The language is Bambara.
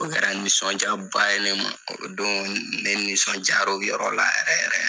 O kɛra nisɔndiyaba ye ne ma, o don ne nisɔndir'o yɔrɔ la yɛrɛ yɛrɛ